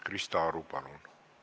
Krista Aru, palun!